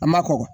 A ma kɔkɔ